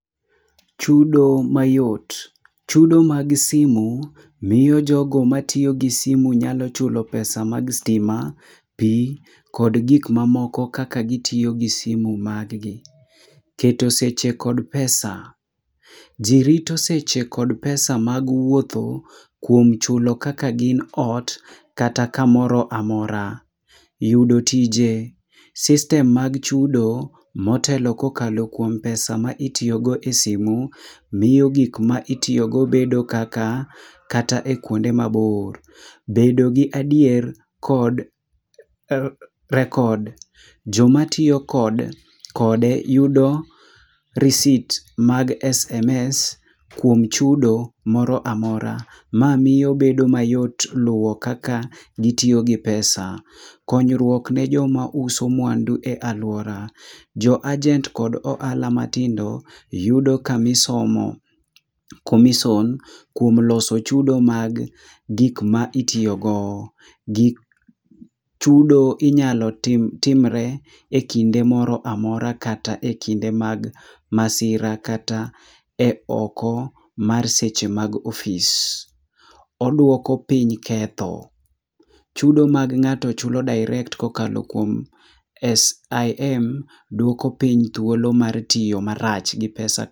Chudo mayot. Chudo mag simu miyo jogo matiyo gi simu nyalo chulo pesa mag stima, pi kod gik mamoko kaka gitiyo gi simu mag gi. Keto seche kod pesa. Ji rito seche kod pesa mag wuotho, kuom chulo kaka gin ot, kata kamoro amora. Yudo tije.  System mag chudo, motelo kokalo kuom [c s] pesa ma itiyogo e simu, miyo gik ma itiyogo bedo kaka , kata e kuonde mabor. Bedo gi adier kod record . Jomatiyo kod kode yudo receipt mag SMS kuom chudo moro amora. Ma miyo bedo mayot luwo kaka gitiyo gi pesa . Konyruok ni joma uso mwandu e aluora. Jo agent kod ohala matindo, yudo kamisomo ? commission kuom loso chudo mag gik maitiyogo. Gik chudo inyalo tim timre ekinde moro amora kata e kinde mag masira kata e oko mar seche mag ofis. Oduoko piny ketho. Chudo mag ng'ato chulo direct kokalo S.I.M, duoko piny thuolo mar tiyo marach gi pesa .